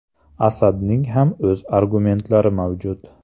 Asadning ham o‘z argumentlari mavjud.